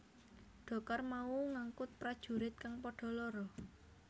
Dhokar mau ngangkut prajurit kang padha lara